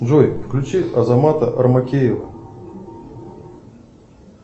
джой включи азамата армакеева